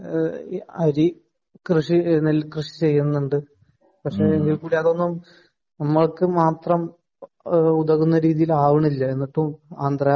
അരി കൃഷി നെൽ കൃഷി ചെയ്യുന്നുണ്ട് . പക്ഷെ അതൊന്നും നമ്മക് മാത്രം ഉതകുന്ന രീതിയിൽ ആവുന്നില്ല എന്നിട്ടും ആന്ധ്രാ